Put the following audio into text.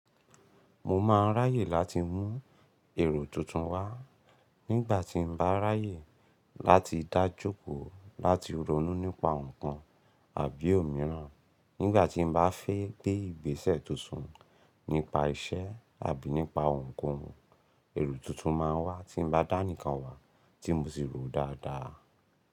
Mo máa ń ráyè láti mú èrò tuntun wá nígbà tí bá ráyè láti dájú kó láti ronú nípa nǹkan àbí òmíràn. Nígbà tí bá fẹ́ gbé ìgbésẹ̀ tuntun nípa iṣẹ́ àbí nípa ohunkóhun, èrò tuntun máa wá tí bá dá ni kan wá tí mo sì ròó dáadáa.